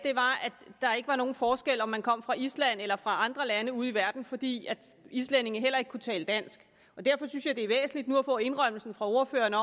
der ikke var nogen forskel på om man kom fra island eller fra andre lande ude i verden fordi islændingene heller ikke kunne tale dansk derfor synes jeg det er væsentligt nu at få indrømmelsen fra ordføreren af